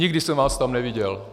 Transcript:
Nikdy jsem vás tam neviděl.